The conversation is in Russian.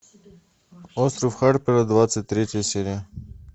остров харпера двадцать третья серия